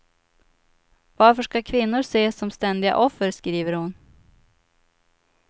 Varför ska kvinnor ses som ständiga offer, skriver hon.